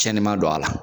Cɛnni ma don a la